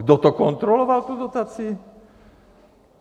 Kdo to kontroloval, tu dotaci?